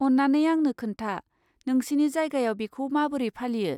अन्नानै आंनो खोन्था, नोंसिनि जायगायाव बेखौ माबोरै फालियो?